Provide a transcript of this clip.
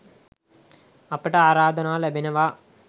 අපට ආරාධනා ලැබෙනවා